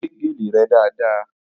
Wẹ́ gèlè rẹ dáadáa!